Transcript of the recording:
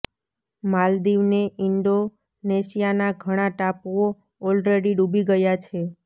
માલદીવ ને ઇન્ડોનેશિયાના ઘણા ટાપુઓ ઓલરેડી ડૂબી ગયા છે